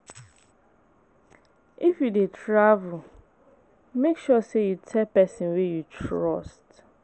If you dey travel, make sure say you tell person wey you trust.